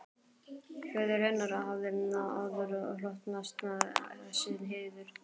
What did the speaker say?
Föður hennar hafði áður hlotnast þessi heiður.